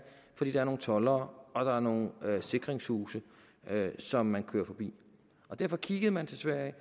fordi der er nogle toldere og der er nogle sikringshuse som man kører forbi derfor kiggede man til sverige